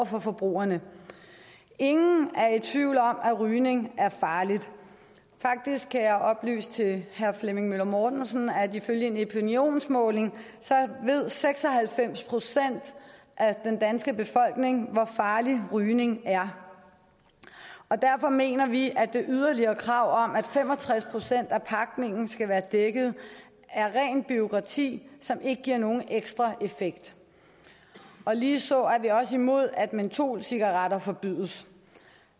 forbrugerne ingen er i tvivl om at rygning er farligt faktisk kan jeg oplyse til herre flemming møller mortensen at ifølge en epinionmåling ved seks og halvfems procent af den danske befolkning hvor farligt rygning er og derfor mener vi at det yderligere krav om at fem og tres procent af pakningen skal være dækket er rent bureaukrati som ikke giver nogen ekstra effekt ligeså er vi også imod at mentolcigaretter forbydes